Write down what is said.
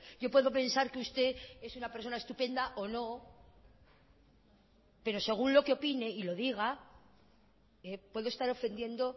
yo puedo pensar que usted es una persona estupenda o no pero según lo que opine y lo diga puedo estar ofendiendo